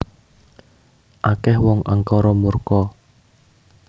Akeh wong angkara murka